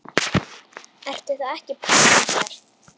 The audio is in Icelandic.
Ertu þá ekki pabbi okkar?